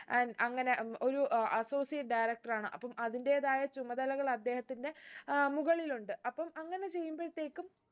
and അങ്ങനെ ഉം ഒരു associate director ആണ് അപ്പം അതിന്റെതായ ചുമതലകൾ അദ്ദേഹത്തിന്റെ അഹ് മുകളിലുണ്ട് അപ്പം അങ്ങനെ ചെയ്യുമ്പഴത്തേക്കും